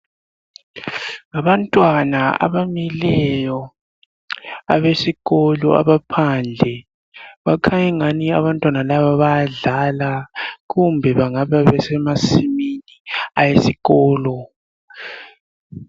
Ngabantwana abamileyo abesikolo, abaphandle bakhanya angani abantwana laba bayadlala kumbe bangaba semasimini awesikolo.